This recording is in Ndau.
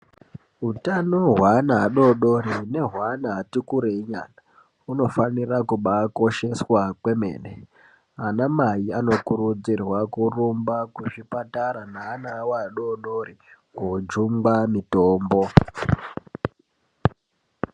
Utano hweana adoodori nehweana ati kurei nyana, hunofanira kubaa kosheswa kwemene. Ana mai anokurudzirwa kurumba kuzvipatara neana awo adoodori koojungwa mitombo.